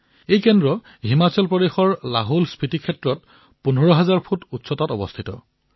এই ভোটদান কেন্দ্ৰ হিমাচল প্ৰদেশৰ লাহোলস্ফিতী ক্ষেত্ৰত ১৫০০০ ফুটৰ উচ্চতাত আছে